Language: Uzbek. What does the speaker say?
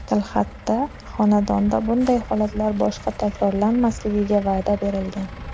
Tilxatda xonanda bunday holatlar boshqa takrorlanmasligiga va’da bergan.